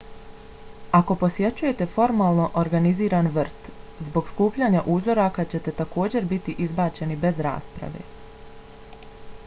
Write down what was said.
ako posjećujete formalno organiziran vrt zbog skupljanja uzoraka ćete također biti izbačeni bez rasprave